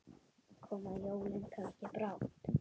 Koma jólin kannski brátt?